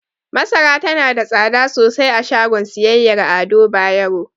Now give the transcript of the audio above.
Masara tana da tsada sosai a shagon siyayyar Ado Bayero.